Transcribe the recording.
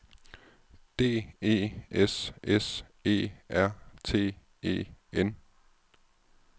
D E S S E R T E N